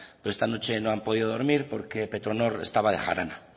porque esta noche no han podido dormir porque petronor estaba de jarana